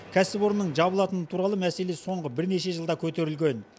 кәсіпорынның жабылатыны туралы мәселе соңғы бірнеше жылда көтерілген